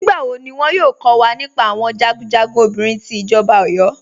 Nígbàwọ́ ní wọ́n yóò kọ̀ wà nípá àwọn jagunjagun obìnrin tí ìjọba Ọ̀yọ́?